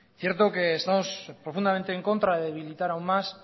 cierto que estamos profundamente en contra de debilitar aún más